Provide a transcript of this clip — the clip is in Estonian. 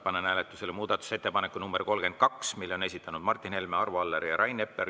Panen hääletusele muudatusettepaneku nr 32, mille on esitanud Martin Helme, Arvo Aller ja Rain Epler.